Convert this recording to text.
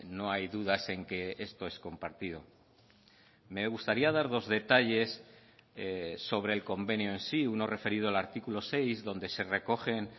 no hay dudas en que esto es compartido me gustaría dar dos detalles sobre el convenio en sí uno referido al artículo seis donde se recogen